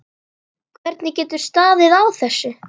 Hvernig getur staðið á þessu.